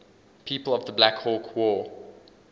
people of the black hawk war